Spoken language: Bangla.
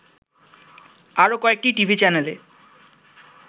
আরো কয়েকটি টিভি চ্যানেলে